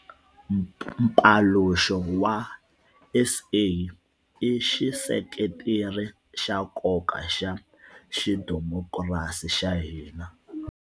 Mpaluxo wa SA i xiseketeri xa nkoka xa xidimokirasi xa hina.